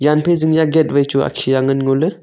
jan phai zing ya gate wai chu akhia ngan ngoley.